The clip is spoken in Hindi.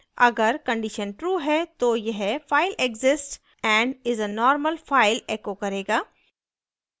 अगर condition true है तो यह file exists and is a normal file echo करेगा